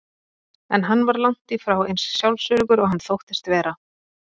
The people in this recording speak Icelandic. En hann var langt í frá eins sjálfsöruggur og hann þóttist vera.